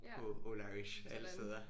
På Old Irish alle steder